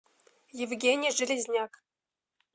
евгения железняк